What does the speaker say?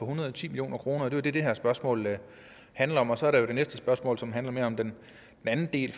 hundrede og ti million kr det er jo det det her spørgsmål handler om og så er der jo det næste spørgsmål som handler mere om den anden del